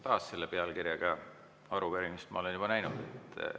Taas: selle pealkirjaga arupärimist ma olen juba näinud.